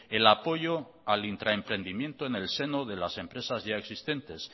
el apoyo al intraemprendimiento en el seno de las empresas ya existentes